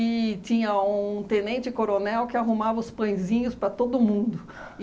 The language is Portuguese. E tinha um tenente coronel que arrumava os pãezinhos para todo mundo.